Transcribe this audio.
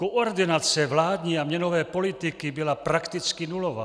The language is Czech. Koordinace vládní a měnové politiky byla prakticky nulová.